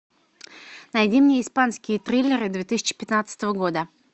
найди мне испанские триллеры две тысячи пятнадцатого года